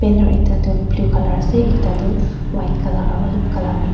Enar ekta tu blue colour ase ekta tu white colour aro ulop colour mixed .